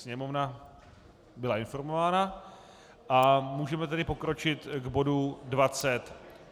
Sněmovna byla informována a můžeme tedy pokročit k bodu